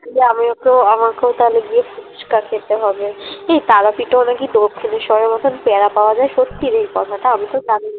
গিয়ে আমিও তো আমাকেও তাহলে গিয়ে ফুচকা খেতে হবে এই তারাপীঠ ও না কি দক্ষিনেশ্বরের মতন পিয়ারা পাওয়া যায় সত্যি রে এই কথাটা? আমিতো জানি না